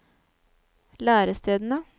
lærestedene